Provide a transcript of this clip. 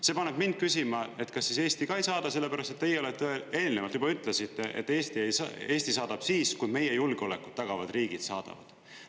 See paneb mind küsima, et kas siis Eesti ei saada, sellepärast et teie olete eelnevalt juba ütlesite, et Eesti saadab siis, kui meie julgeolekut tagavad riigid saadavad.